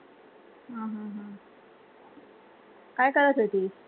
काय करत होतीस?